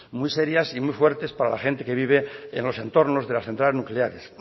muy serias y muy fuertes para gente que vive en los entornos de las centrales nucleares